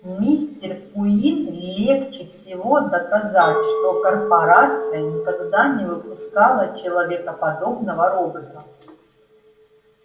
мистер куинн легче всего доказать что корпорация никогда не выпускала человекоподобного робота